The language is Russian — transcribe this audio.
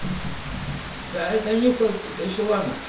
да это нюхал тебя ещё